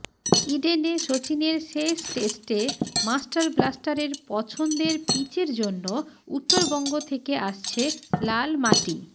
ইডেনে সচিনের শেষ টেস্টে মাস্টার ব্লাস্টারের পছন্দের পিচের জন্য উত্তরবঙ্গ থেকে আসছে লাল মাটি